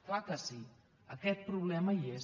clar que sí aquest problema hi és